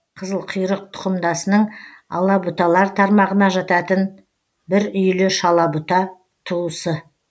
қызылқұйрық тұқымдасының алабұталар тармағына жататын бір үйлі шалабұта туысы